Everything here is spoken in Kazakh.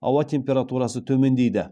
ауа температурасы төмендейді